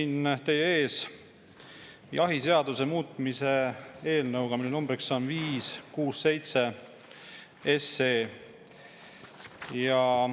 Olen teie ees jahiseaduse muutmise eelnõuga, mille number on 567.